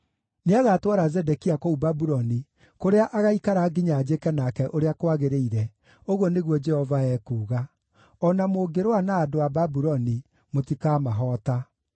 Nĩagatwara Zedekia kũu Babuloni, kũrĩa agaaikara nginya njĩke nake ũrĩa kwagĩrĩire, ũguo nĩguo Jehova ekuuga. O na mũngĩrũa na andũ a Babuloni, mũtikamahoota.’ ”